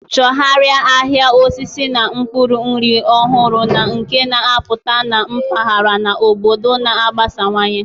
Chọgharịa ahịa mkpụrụ osisi na akwụkwọ nri ọhụrụ na nke na-apụta na mpaghara na obodo na-agbasawanye.